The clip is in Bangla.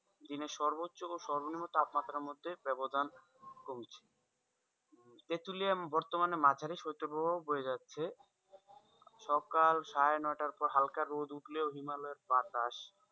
দিনের সর্বোচ্ছ ও সর্বনিম্ন তাপমাত্রার মধ্যে বাব্যধান কমছে তেঁতুলিয়া বর্তমানে মাঝারি শৈত্যপ্রভাব বয়ে যাচ্ছে সকাল সাড়ে নটার পর হালকা রোদ উঠলেও হিমালয়ের বাতাস,